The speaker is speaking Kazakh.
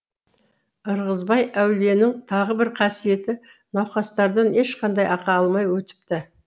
ырғызбай әулиенің тағы бір қасиеті науқастардан ешқандай ақы алмай өтіпті